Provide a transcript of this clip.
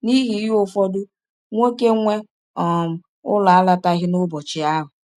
N’ihi ihe ụfọdụ, nwọke nwe um ụlọ alọtaghị n’ụbọchị ahụ.